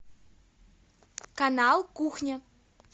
канал кухня